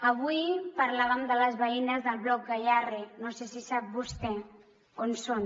avui parlàvem de les veïnes del bloc gayarre no sé si sap vostè on són